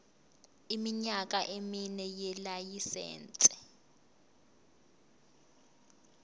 iminyaka emine yelayisense